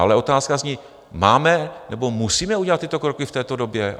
Ale otázka zní - máme nebo musíme udělat tyto kroky v této době?